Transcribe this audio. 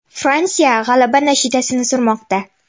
Fransiya g‘alaba nashidasini surmoqda.